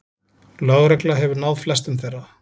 Lögregla hefur náð flestum þeirra